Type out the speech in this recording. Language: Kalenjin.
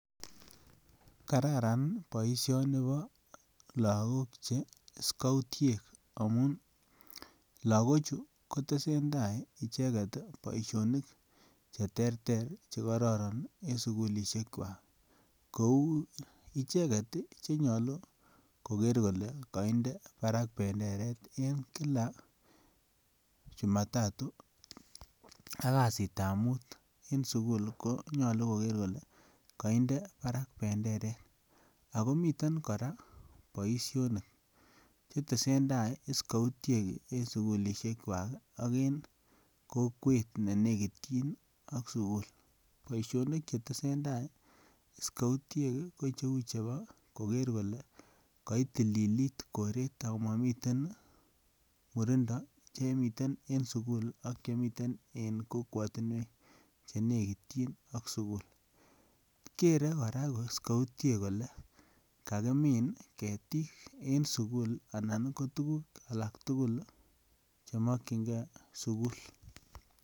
Kararan baishoni Kobo lagok che skoutiek amun lagok Chu ketesentai icheket Baishonik cheterter chekororon en sugulishek chwak Kou icheket chenyolu koker Kole kaide Barak benderet en kila jumatatu akasit ab mut en sukul konyalu Koger Kole kaide Barak benderet akomiten koraa Baishonik chetesetai scoutiek en sugulishek chwak AK en kokwet nenekityin AK sukul ,baishonik chetesetai scoutiek ko cheu chebo Koger Kole kaitililit koret komamiten murindo Chemiten en sukul ak Chemiten en kokwatinwek chenekityin AK sukul Gere kora scoutiek Kole kakimin ketik en sukul anan ko tuguk alektugul chemakingei sukul